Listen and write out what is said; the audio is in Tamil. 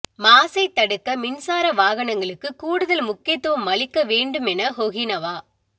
மாசை தடுக்க மின்சார வாகனங்களுக்கு கூடுதல் முக்கியத்துவம் அளிக்க வேண்டும் என ஹொகினவா